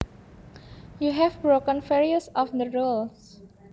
You have broken various of the rules